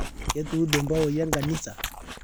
Ketuude mpawoi eenkanisa